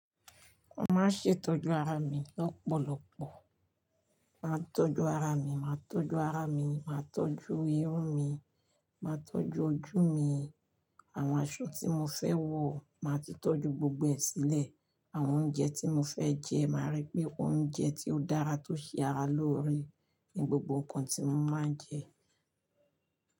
Mo máa ṣètọ́jú ara mi lọ́pọ̀lọpọ̀, màá tọ́jú ara mi, màá tọ́jú ara mi, màá tọ́jú irun mi, màá tọ́jú ojú mi, àwọn aṣọ tí mo fẹ́ wọ̀, màá ti tọ́jú gbogbo ẹ sílẹ̀, àwọn oúnjẹ tí mo fẹ jẹ, màá rí pé oúnjẹ tí ó dára tó ṣe ara lóore ni gbogbo nǹkan tí mo máa ń jẹ.